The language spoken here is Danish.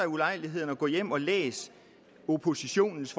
ulejlighed at gå hjem og læse oppositionens